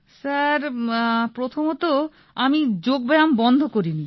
sir প্রথমত আমি যোগ ব্যায়াম বন্ধ করিনি